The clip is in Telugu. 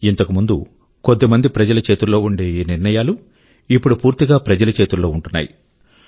ఇంతకు ముందు కొద్దిమంది ప్రజల చేతుల్లో ఉండే ఈ నిర్ణయాలు ఇప్పుడు పూర్తిగా ప్రజల చేతుల్లో ఉంటున్నాయి